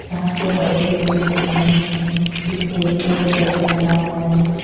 यहां पे बहुत बड़ी बड़ी मशीने हैं पीछे एक बैठक बना हुआ है।